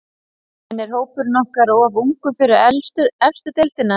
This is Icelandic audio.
En er hópurinn ykkar of ungur fyrir efstu deildina?